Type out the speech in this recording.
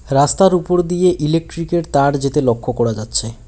রাস্তার উপর দিয়ে ইলেকট্রিক -এর তার যেতে লক্ষ করা যাচ্ছে।